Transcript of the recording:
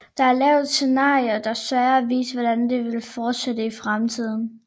Der er lavet scenarier der søger at vise hvordan det vil fortsætte i fremtiden